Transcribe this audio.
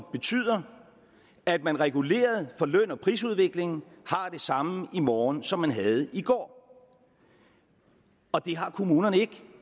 betyder at man reguleret for løn og prisudviklingen har det samme i morgen som man havde i går og det har kommunerne ikke